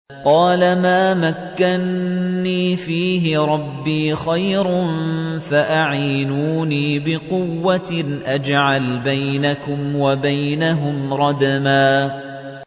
قَالَ مَا مَكَّنِّي فِيهِ رَبِّي خَيْرٌ فَأَعِينُونِي بِقُوَّةٍ أَجْعَلْ بَيْنَكُمْ وَبَيْنَهُمْ رَدْمًا